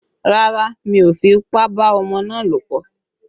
Rárá, mi ò fipá bá ọmọ náà lòpọ̀?